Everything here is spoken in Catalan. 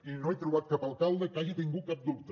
i no he trobat cap alcalde que hagi tingut cap dubte